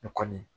O kɔni